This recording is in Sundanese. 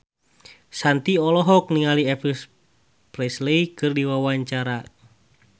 Shanti olohok ningali Elvis Presley keur diwawancara